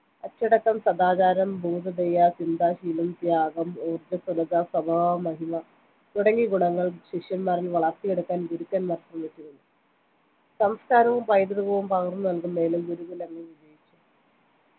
അച്ചടക്കം സദാചാരം ഭൂതദയ ചിന്താശീലം ത്യാഗം ഊർജ്ജസ്വലത സ്വഭാവമഹിമ തുടങ്ങിയ ഗുണങ്ങൾ ശിഷ്യന്മാരിൽ വളർത്തിയെടുക്കാൻ ഗുരുക്കന്മാർ ശ്രമിച്ചിരുന്നു സംസ്കാരവും പൈതൃകവും പകർന്നു നൽകുന്നതിലും ഗുരു കുലങ്ങൾ വിജയിച്ചു